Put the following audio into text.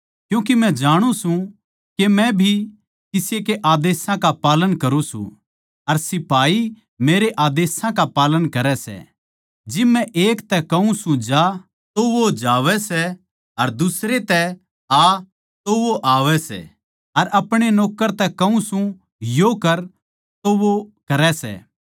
क्यूँके मै जाणु सूं के मै भी किसी के आदेशां का पालन करुँ सूं अर सिपाही मेरै आदेशां का पालन करै सै जिब मै एक तै कहूँ सूं जा तो वो जावै सै अर दुसरे तै आ तो वो आवै सै अर अपणे नौक्कर तै कहूँ सूं यो कर तो वो करै सै